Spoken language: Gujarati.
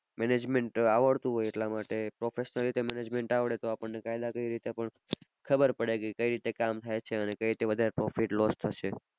management આવડતું હોય એટલા માટે professional રીતે management આવડે તો આપણને કાયદાકીય રીતે ખબર પડે કે કઈ રીતે કામ થાય છે અને કઈ રીતે વધારે profit loss થશે.